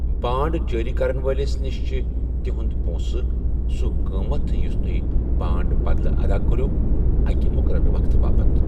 بانڈ جٲری کرن وٲلِس نِش چھِ تُہنٛد پونٛسہٕ، سوٗ قٕٲمٕتھ یٗس توہہِ بانڈٕ بدلہٕ ادا كو٘رٗو ، أکِہِ مُقررٕ وقتہٕ باپت ۔